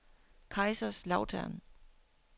Kaiserslautern